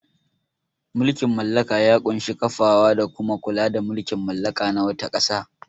Mulkin mallaka ya ƙunshi kafawa da kuma kula da mulkin mallaka na wata ƙasa.